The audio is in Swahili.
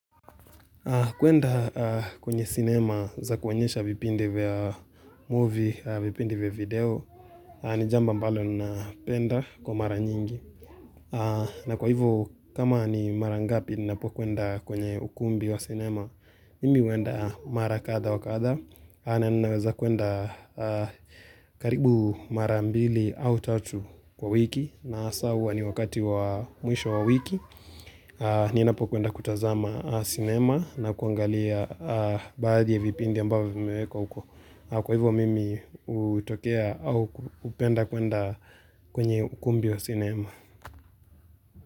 Kuenda kwenye cinema za kuonyesha vipindi vya movie, vipindei vya video, ni jambo ambalo na penda kwa mara nyingi. Na kwa hivo, kama ni mara ngapi ni napo kuenda kwenye ukumbi wa cinema, mimi uenda mara katha wakatha. Na ninaweza kuenda karibu mara mbili au tatu kwa wiki. Na asa hua ni wakati wa mwisho wa wiki Ninapo kuenda kutazama cinema na kuangalia baadhi ya vipindi ambavo vimewekwa uko Kwa hivyo mimi utokea au upenda kuenda kwenye ukumbi wa cinema.